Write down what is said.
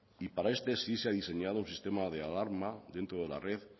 y para este sí se ha diseñado un sistema de alarma dentro de la red